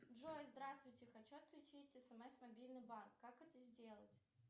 джой здравствуйте хочу отключить смс мобильный банк как это сделать